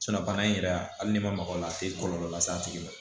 bana in yɛrɛ a hali n'i ma maga o la a tɛ kɔlɔlɔ las'a tigi ma